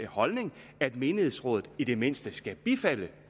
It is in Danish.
holdning at menighedsrådet i det mindste skal bifalde